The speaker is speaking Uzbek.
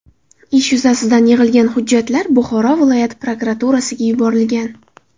Ish yuzasidan yig‘ilgan hujjatlar Buxoro viloyat prokuraturasiga yuborilgan.